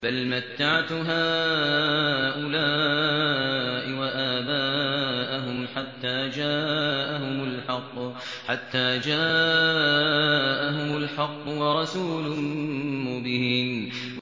بَلْ مَتَّعْتُ هَٰؤُلَاءِ وَآبَاءَهُمْ حَتَّىٰ جَاءَهُمُ الْحَقُّ وَرَسُولٌ مُّبِينٌ